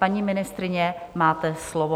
Paní ministryně, máte slovo.